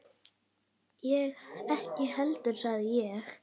Ég ekki heldur sagði ég.